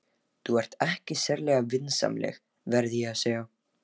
Þú ert ekki sérlega vinsamleg, verð ég að segja.